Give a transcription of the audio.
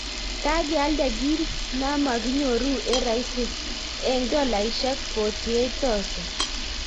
Kagealda kit namakinyoru eng rahisi eng dolaishek48000